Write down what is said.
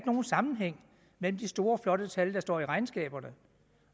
nogen sammenhæng mellem de store flotte tal der står i regnskaberne